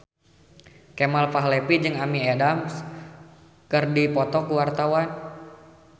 Kemal Palevi jeung Amy Adams keur dipoto ku wartawan